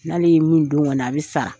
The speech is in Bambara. N'ale ye min don ka na a bɛ i sara.